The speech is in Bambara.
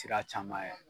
Sira caman ye